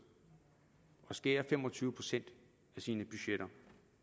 og skære fem og tyve procent i sine budgetter